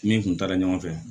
Min tun taara ɲɔgɔn fɛ